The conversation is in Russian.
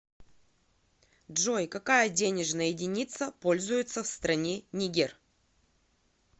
джой какая денежная единица пользуется в стране нигер